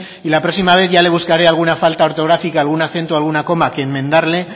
y la próxima vez ya le buscaré alguna falta ortográfica algún acento alguna coma que enmendarle